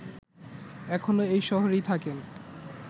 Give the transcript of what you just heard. এখনো এই শহরেই থাকেন